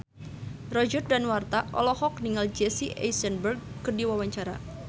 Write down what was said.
Roger Danuarta olohok ningali Jesse Eisenberg keur diwawancara